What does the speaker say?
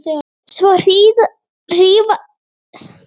Svo hríðversnaði honum eina nóttina.